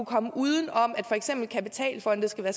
komme uden om at for eksempel kapitalfonde skal være